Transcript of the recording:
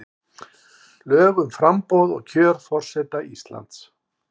Lög um framboð og kjör forseta Íslands.